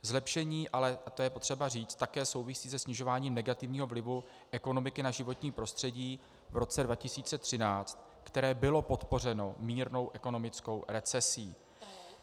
Zlepšení, a to je potřeba říct, také souvisí se snižováním negativního vlivu ekonomiky na životní prostředí v roce 2013, které bylo podpořeno mírnou ekonomickou recesí.